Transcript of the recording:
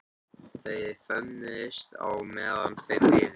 Þau föðmuðust á meðan þau biðu.